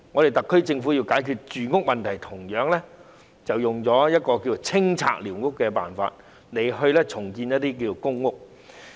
特區政府現時要解決住屋問題，同樣採用了清拆寮屋的手法，然後在用地上興建公屋。